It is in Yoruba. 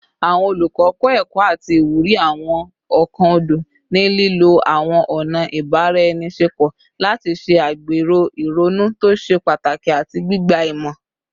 Awọn olukọ kọ ẹkọ ati iwuri awọn ọkan ọdọ, ni lilo awọn ọna ibaraenisepo lati ṣe agbero ironu to ṣe pataki ati gbigba imọ